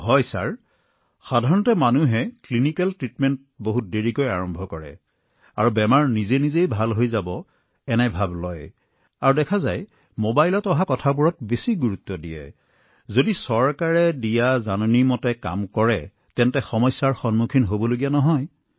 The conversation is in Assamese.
হয় মহাশয় নিদানিক চিকিৎসা লোকসকলে অতি পলমকৈ আৰম্ভ কৰে আৰু স্বয়ংক্ৰিয়ভাৱে ৰোগ ভাল হব এই বুলি বিশ্বাস কৰে মবাইলত কি আহে তাৰ ওপৰত বিশ্বাস ৰাখে আৰু যদি আপুনি চৰকাৰী তথ্য অনুসৰণ কৰে তেন্তে কষ্টৰ সন্মুখীন হবলগীয়া নহয়